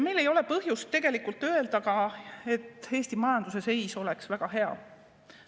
Meil ei ole põhjust tegelikult öelda, et Eesti majanduse seis on väga hea.